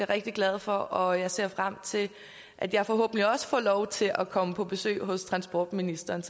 rigtig glad for og jeg ser frem til at jeg forhåbentlig også får lov til at komme på besøg hos transportministeren